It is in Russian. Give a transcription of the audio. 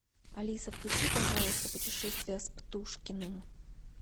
алиса включи пожалуйста путешествия с птушкиным